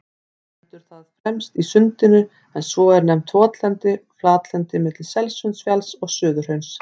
Stendur það fremst í Sundinu, en svo er nefnt votlent flatlendi milli Selsundsfjalls og Suðurhrauns.